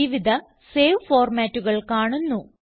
വിവിധ സേവ് ഫോർമാറ്റുകൾ കാണുന്നു